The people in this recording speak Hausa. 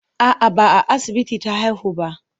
A'a, ba a asibiti ta haihu ba.